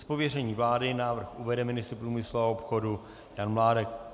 Z pověření vlády návrh uvede ministr průmyslu a obchodu Jan Mládek.